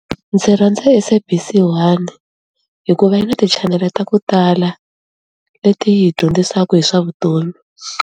Ndzi rhandza SABC 1 hikuva yi na ti-channel-e ta ku tala leti hi dyondzisaku hi swa vutomi.